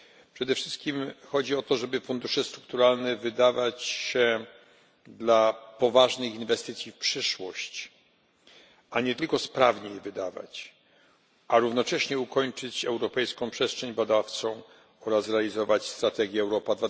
Przede wszystkim chodzi o to, żeby fundusze strukturalne wydawać na poważne inwestycje w przyszłość, a nie tylko sprawnie je wydawać, a równocześnie ukończyć europejską przestrzeń badawczą oraz realizować strategię Europa